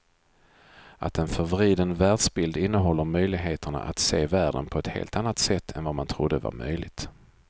Att en förvriden världsbild innehåller möjligheterna att se världen på ett helt annat sätt än vad man trodde var möjligt.